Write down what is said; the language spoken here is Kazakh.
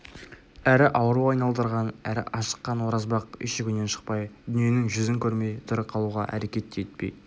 әрі ауру айналдырған әрі ашыққан оразбақ үйшігінен шықпай дүниенің жүзін көрмей тірі қалуға әрекет те етпей